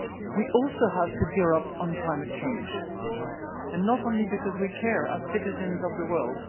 We also have to gear up on climate change and not only because we care as citizens of this